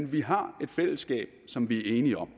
at vi har et fællesskab som vi er enige om